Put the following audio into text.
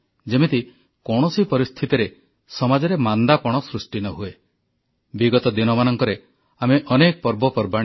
ହୁଏତ ଆମ ପୂର୍ବପୁରୁଷମାନେ ଋତୁ ଚକ୍ର ଅର୍ଥ ଚକ୍ର ଏବଂ ସାମାଜିକ ଜୀବନର ବ୍ୟବସ୍ଥାକୁ ଏତେ ସୁନ୍ଦର ଭାବେ ଗଢ଼ିଛନ୍ତି ଯେମିତି କୌଣସି ପରିସ୍ଥିତିରେ ସମାଜରେ ମାନ୍ଦାପଣ ସୃଷ୍ଟି ନ ହୁଏ